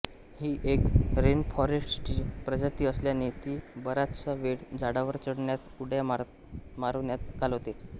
ही एक रेनफॉरेस्टची प्रजाती असल्याने ति बराचसा वेळ झाडावर चढण्यात उड्या मारण्यात घालवते